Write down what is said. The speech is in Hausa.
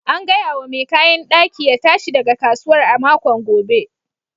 An gaya wa mai kayan daki ya tashi daga kasuwar a makon gobe.